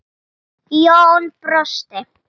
Jón brosti.